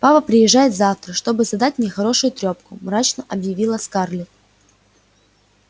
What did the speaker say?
папа приезжает завтра чтобы задать мне хорошую трёпку мрачно объявила скарлетт